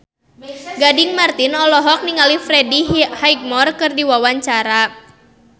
Gading Marten olohok ningali Freddie Highmore keur diwawancara